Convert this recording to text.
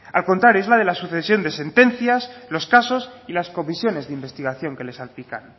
al contrario es la de la sucesión de sentencias los casos y las comisiones de investigación que le salpican